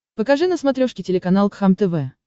покажи на смотрешке телеканал кхлм тв